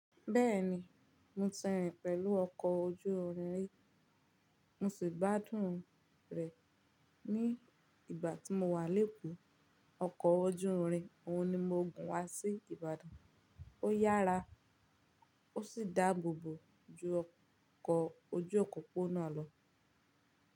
Bẹ́ẹ̀ni, mo ti rìn pẹ̀lú ọkọ̀ ojú irin rí, mo sì gbádùn rẹ̀. Ní ìgbà tí mo wà léko, ọkọ̀ ojú irin òun ni mo gùn wá sí Ìbàdàn. Ó yára, ó sì dáàbòbò ju ọkọ̀ ojú òpópónà lọ.